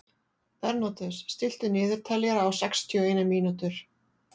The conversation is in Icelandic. Bernódus, stilltu niðurteljara á sextíu og eina mínútur.